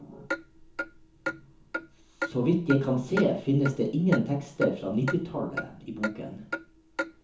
Så vidt jeg kan se, finnes det ingen tekster fra nittitallet i boken.